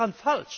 Was ist daran